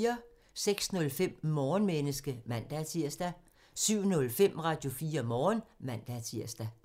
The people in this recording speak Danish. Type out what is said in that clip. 06:05: Morgenmenneske (man-tir) 07:05: Radio4 Morgen (man-tir)